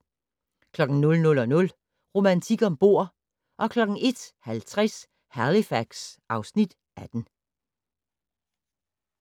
00:00: Romantik om bord 01:50: Halifax (Afs. 18)